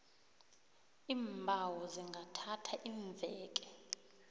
iimbawo zingathatha iimveke